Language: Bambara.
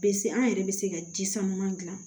Pese an yɛrɛ bɛ se ka ji sama gilan